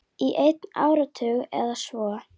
Í einn áratug eða svo.